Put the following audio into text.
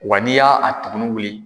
Wa n'i ya a tugunin wuli.